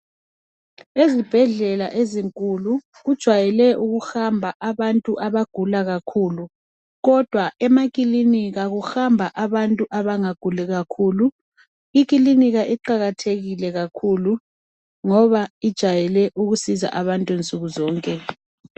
Ezibhedlela ezinkulu, kujwayele ukuhamba abantu abagula kakhulu kodwa emakilinika kuhamba abantu abangaguli kakhulu. Ikilinika iqakathekile kakhulu ngoba ijayele ukusiza abantu nsukuzonke.